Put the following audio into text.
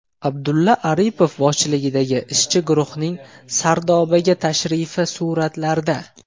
Abdulla Aripov boshchiligidagi ishchi guruhning Sardobaga tashrifi suratlarda.